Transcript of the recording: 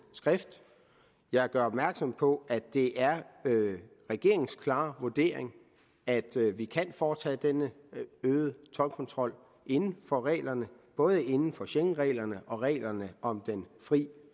skrift jeg gør opmærksom på at det er regeringens klare vurdering at vi kan foretage denne øgede toldkontrol inden for reglerne både inden for schengenreglerne og reglerne om den frie